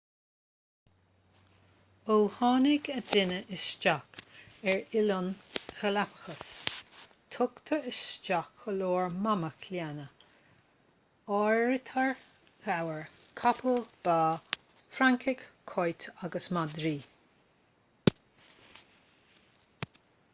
ó tháinig an duine isteach ar oileáin galapagos tugadh isteach go leor mamach lena n-áirítear gabhair capaill ba francaigh cait agus madraí